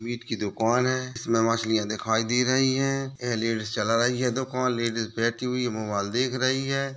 Meet की दुकान हैं इसमें मछलियाँ दिखाई दे रही है ए लेडीस चला रही है दुकान लेडीस बैठी हुई मोबाइल देख रही है।